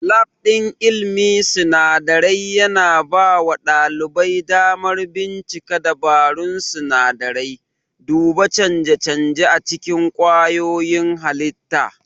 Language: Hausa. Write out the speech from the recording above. Lab ɗin ilmin sinadarai yana bawa ɗalibai damar bincika dabarun sinadarai, duba canje-canje a cikin kwayoyin halitta.